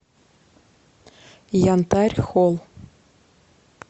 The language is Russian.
янтарь холл